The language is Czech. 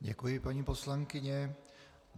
Děkuji, paní poslankyně.